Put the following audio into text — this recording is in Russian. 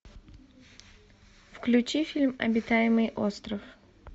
включи фильм обитаемый остров